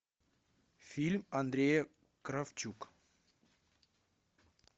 фильм андрея кравчук